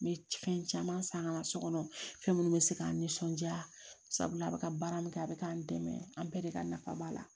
N bɛ fɛn caman san ka na so kɔnɔ fɛn minnu bɛ se k'an nisɔndiya sabula a bɛ ka baara min kɛ a bɛ k'an dɛmɛ an bɛɛ de ka nafa b'a la